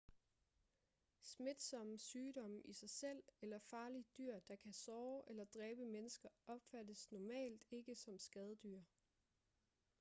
smitsomme sygdomme i sig selv eller farlige dyr der kan såre eller dræbe mennesker opfattes normalt ikke som skadedyr